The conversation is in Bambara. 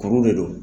Kuru de don